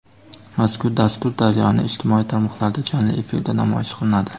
Mazkur dastur "Daryo"ning ijtimoiy tarmoqlarida jonli efirda namoyish qilinadi.